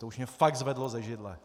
To už mě fakt zvedlo ze židle.